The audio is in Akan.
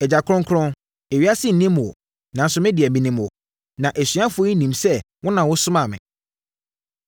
“Agya kronkron, ewiase nnim wo, nanso me deɛ, menim wo; na asuafoɔ yi nim sɛ wo na wosomaa me.